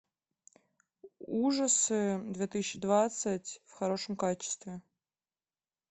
ужасы две тысячи двадцать в хорошем качестве